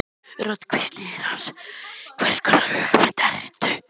Rödd hvíslar í eyra hans: Hvers konar hugmynd ertu?